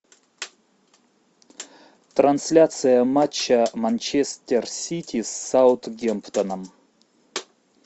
трансляция матча манчестер сити с саутгемптоном